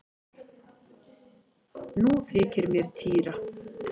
Nú þykir mér týra!